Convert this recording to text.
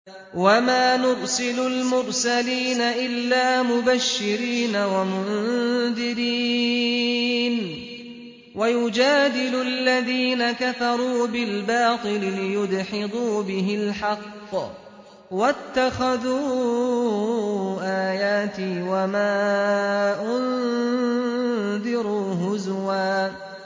وَمَا نُرْسِلُ الْمُرْسَلِينَ إِلَّا مُبَشِّرِينَ وَمُنذِرِينَ ۚ وَيُجَادِلُ الَّذِينَ كَفَرُوا بِالْبَاطِلِ لِيُدْحِضُوا بِهِ الْحَقَّ ۖ وَاتَّخَذُوا آيَاتِي وَمَا أُنذِرُوا هُزُوًا